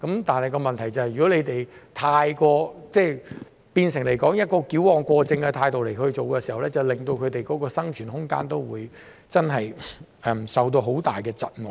但問題是，如果你們以矯枉過正的態度去處理，會令他們的生存空間受到很大窒礙。